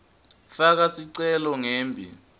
faka sicelo ngembi